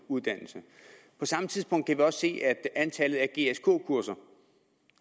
uddannelse på samme tidspunkt kan vi også se af antallet af gsk kurser